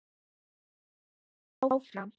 Björn flettir áfram.